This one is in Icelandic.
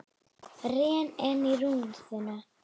Rek ennið í rúðuna.